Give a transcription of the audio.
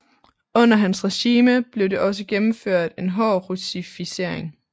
Under hans regime blev det også gennemført en hård russificering